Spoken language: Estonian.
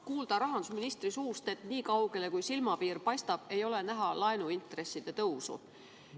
Kuulsime rahandusministri suust, et nii kaugele, kui silmapiir paistab, ei ole näha laenuintresside tõusu.